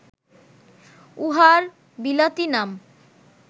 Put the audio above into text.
উহার বিলাতী নাম